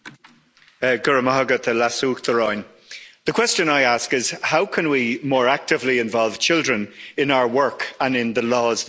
Madam President, the question I ask is how can we more actively involve children in our work and in the laws that we shape?